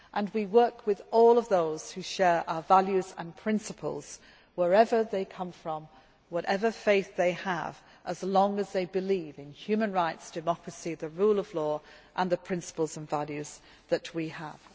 We work with all those who share our values and principles wherever they come from, whatever faith they have, as long as they believe in human rights, democracy, the rule of law and the principles and values that we